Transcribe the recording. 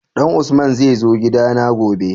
Dan usman zai zo gida na gobe?